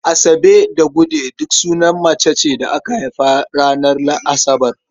Asabe da Gude duk sunan mace ce da aka haifa ranar Asabar.